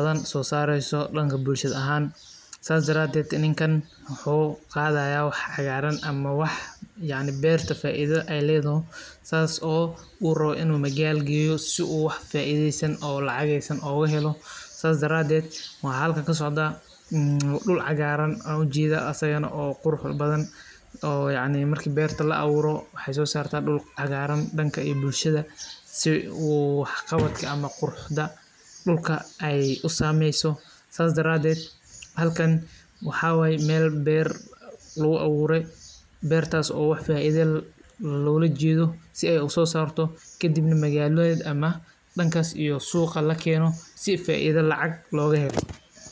wax sosaar badan leeh sidaas daraded ninka wuxu qadaya wax cagar aha oo berta faida uah oo lagac ogahelo o waxa halka ujeda duul cagaran oo qurux badanoo yacni mark berta laaburo oo dulka ayey sameysa oo halkan waxa waye meel beer luguaaburo oo faido logahedo ookadib magalada lakeni sii faido logahelo.